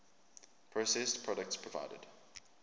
processed products provided